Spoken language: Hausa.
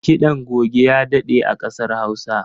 Kiɗan goge ya daɗe a ƙasar Hausa.